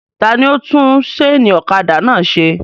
Ta ni ó tún sénì ọ̀kadà náà se?